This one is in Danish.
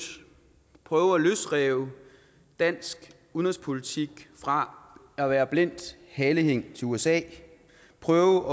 prøve at løsrive dansk udenrigspolitik fra at være blindt halehæng til usa prøve